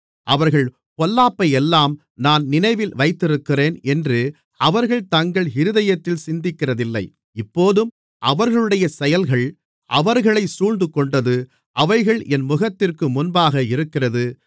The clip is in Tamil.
அவர்கள் பொல்லாப்பையெல்லாம் நான் நினைவில் வைத்திருக்கிறேன் என்று அவர்கள் தங்கள் இருதயத்தில் சிந்திக்கிறதில்லை இப்போதும் அவர்களுடைய செயல்கள் அவர்களைச் சூழ்ந்துகொண்டது அவைகள் என் முகத்திற்கு முன்பாக இருக்கிறது